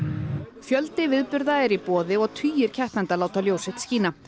fjöldi viðburða er í boði og tugir keppenda láta ljós sitt skína